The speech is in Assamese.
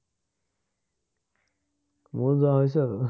মোৰ যোৱা হৈছে